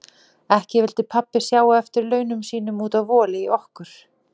Ekki vildi pabbi sjá á eftir laununum sínum út af voli í okkur.